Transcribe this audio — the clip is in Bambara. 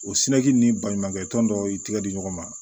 O ni baɲumankɛ tɔn dɔw y'i tigɛ di ɲɔgɔn ma